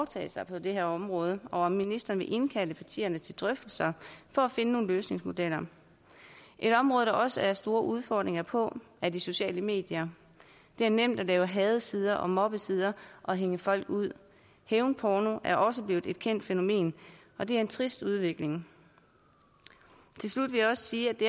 tage på det her område og om ministeren vil indkalde partierne til drøftelser for at finde nogle løsningsmodeller et område der også er store udfordringer på er de sociale medier det er nemt at lave hadesider og mobbesider og hænge folk ud hævnporno er også blevet et kendt fænomen og det er en trist udvikling til slut vil jeg sige at vi